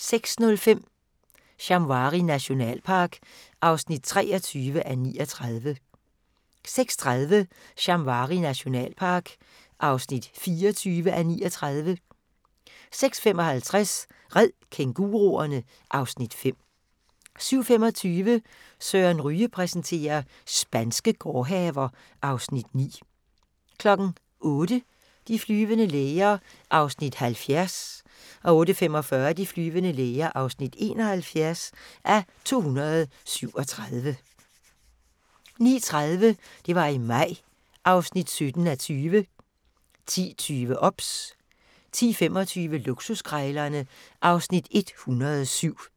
06:05: Shamwari nationalpark (23:39) 06:30: Shamwari nationalpark (24:39) 06:55: Red kænguruerne! (Afs. 5) 07:25: Søren Ryge præsenterer: Spanske gårdhaver (Afs. 9) 08:00: De flyvende læger (70:237) 08:45: De flyvende læger (71:237) 09:30: Det var i maj (17:20) 10:20: OBS 10:25: Luksuskrejlerne (Afs. 107)